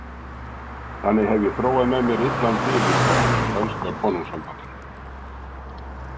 þannig hef ég þróað með mér illan bifur á spænska konungssambandinu.